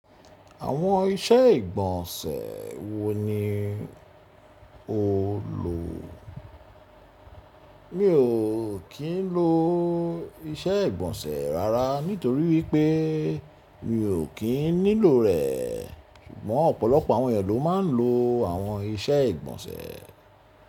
Àwọn iṣẹ́ ìgbọ̀nsẹ̀ wo ni o lò? Mi ò kín ń lo iṣẹ́ ìgbọ̀nsẹ̀ rárá nítorí wípé mi ò kín nílò rẹ̀, ṣùgbọ́n ọ̀pọ̀lọpọ̀ àwọn ènìyàn ló máa ń lo àwọn iṣẹ́ ìgbọ̀nsẹ̀.